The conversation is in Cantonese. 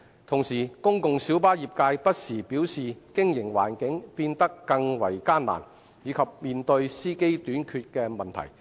同時，公共小巴業界不時表示經營環境變得更為艱難，以及面對司機短缺的問題。